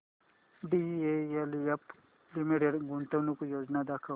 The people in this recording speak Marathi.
डीएलएफ लिमिटेड गुंतवणूक योजना दाखव